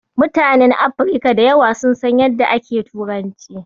Mutanen Afirka da yawa sun san yadda ake turanci.